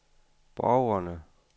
borgerne